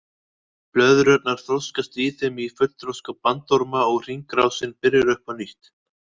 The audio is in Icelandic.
Blöðrurnar þroskast í þeim í fullþroska bandorma og hringrásin byrjar upp á nýtt.